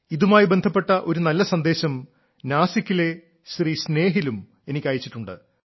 ഇതുമായി ബന്ധപ്പെട്ട ഒരു നല്ല സന്ദേശം നാസിക്കിലെ ശ്രീ സ്നേഹിലും എനിക്ക് അയച്ചിട്ടുണ്ട്